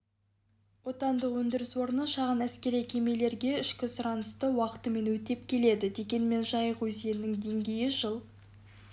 отандық өндіріс орны шағын әскери кемелерге ішкі сұранысты уақытымен өтеп келеді дегенмен жайық өзенінің деңгейі жыл